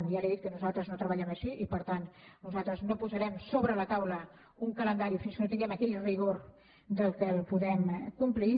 i ja li he dit que nosaltres no treballem així i per tant nosaltres no posarem sobre la taula un calendari fins que no tinguem aquell rigor que el podem complir